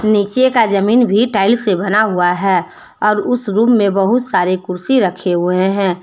नीचे का जमीन भी टाइल्स से बना हुआ है और उस रूम में बहुत सारे कुर्सी रखे हुए हैं।